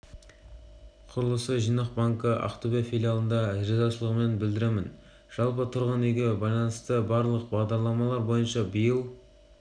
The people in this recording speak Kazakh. құрылысы жинақ банкі ақтөбе филиалына ризашылығымды білдіремін жалпы тұрғын үйге байланысты барлық бағдарламалар бойынша биыл